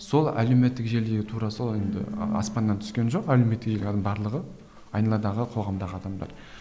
сол әлеуметтік желіде тура сол енді аспаннан түскен жоқ әлеуметтік барлығы айналадағы қоғамдағы адамдар